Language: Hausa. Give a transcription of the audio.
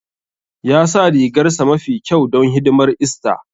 Ya sa rigarsa mafi kyau don hidimar ista